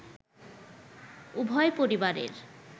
উভয় পরিবারের